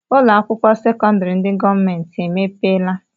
Ụlọakwụkwọ sekọndịrị ndị gọọmenti emepeela?